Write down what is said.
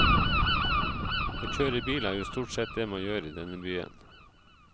Å kjøre bil er jo stort sett det man gjør i denne byen.